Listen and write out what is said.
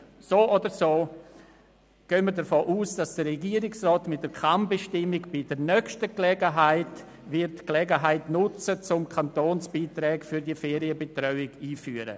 So oder so gehen wir davon aus, dass der Regierungsrat mit der Kann-Bestimmung bei der nächsten Gelegenheit die Gelegenheit nutzen wird, die Kantonsbeiträge für die Ferienbetreuungsangebote einzuführen.